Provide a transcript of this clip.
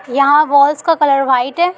यहाँ वाल्स का colour white है ।